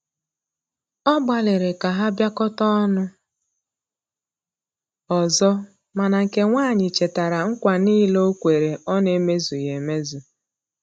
Ọ gbaliri ka ha biakota ọnụ ọzọ, mana nke nwanyi chetara nKwa nile okwere ọ na eme zughi emezụ